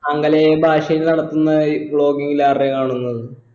ആംഗലേയ ഭാഷയിൽ നടത്തുന്ന ഈ vlogging ൽ ആരുടേ കാണുന്നത്